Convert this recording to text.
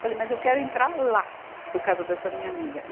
Falei, mas eu quero entrar lá, por causa dessa minha amiga. e